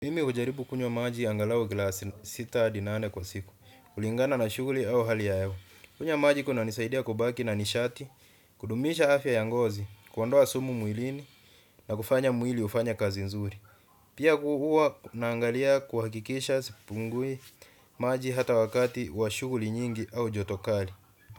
Mimi hujaribu kunywa maji angalau glasi sita hadi nane kwa siku, kulingana na shughuli au hali ya hewa. Kunywa maji kunanisaidia kubaki na nishati, kudumisha afya ya ngozi, kuondoa sumu mwilini na kufanya mwili hufanye kazi nzuri. Pia huwa naangalia kuhakikisha sipungui maji hata wakati wa shughuli nyingi au joto kali.